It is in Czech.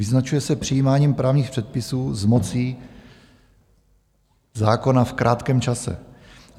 Vyznačuje se přijímáním právních předpisů s mocí zákona v krátkém čase.